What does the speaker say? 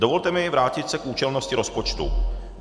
Dovolte mi vrátit se k účelnosti rozpočtu.